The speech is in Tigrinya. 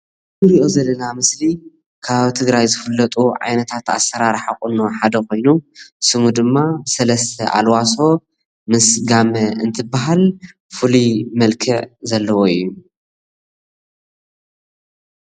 እዚ እንሪኦ ዘለና ምስሊ ካብ ኣብ ትግራይ ዝፍለጡ ዓይነታት ኣሰራርሓ ሓደ ኾይኑ ስሙ ድማ ሰለስተ ኣልዋሶ ምስ ጋመ እንትበሃል ፍሉይ መልክዕ ዘለዎ እዩ።